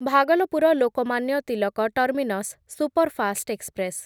Bhagalpur Lokmanya Tilak terminus superfast express